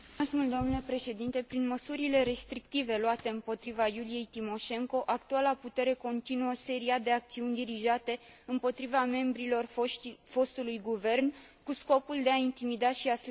Prin măsurile restrictive luate împotriva Iuliei Timoșenko, actuala putere continuă seria de acțiuni dirijate împotriva membrilor fostului guvern cu scopul de a intimida și a slăbi opoziția.